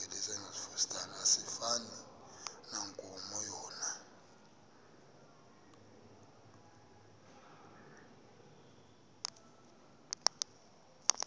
asifani nankomo yona